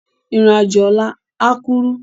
Irin ájó òlà á kúrú